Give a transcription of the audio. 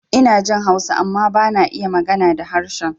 Inajin Hausa amma bana iya magana da harshen